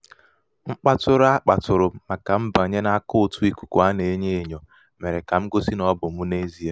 mkpatụṛụ a kpàtụ̀ụ̀rụ m màkà mbànye n’àkàụ̀ǹtụ̀ ìkùkù a nà-enyō ènyò mèrè kà m gosi nà ọ bụ̀ mụ n’ezie.